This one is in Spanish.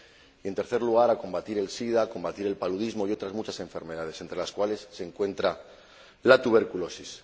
y en tercer lugar, a combatir el sida, a combatir el paludismo y otras muchas enfermedades, entre las cuales se encuentra la tuberculosis.